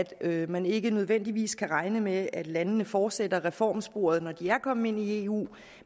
at man ikke nødvendigvis kan regne med at landene fortsætter i reformsporet når de er kommet ind i eu